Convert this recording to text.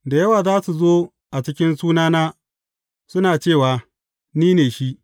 Da yawa za su zo a cikin sunana, suna cewa, Ni ne shi.’